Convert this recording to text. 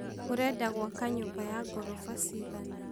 ũrenda gwaka nyũmba ya ngoroba ciigana?